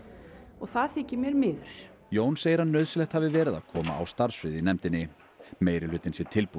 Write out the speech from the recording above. og það þykir mér miður Jón segir að nauðsynlegt hafi verið að koma starfsfriði á í nefndinni meirihlutinn sé tilbúinn